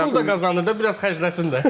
pul da qazanır da, biraz xərcləsin də.